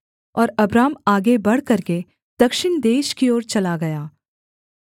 और अब्राम आगे बढ़ करके दक्षिण देश की ओर चला गया